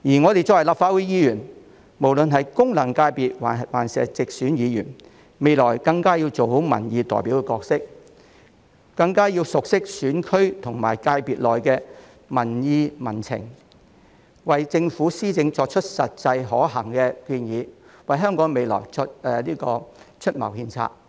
身為立法會議員，不論是功能界別還是直選議員，我們未來更要做好民意代表的角色，熟悉選區或界別內的民情民意，為政府施政提出實際可行的建議，為香港未來出謀獻策。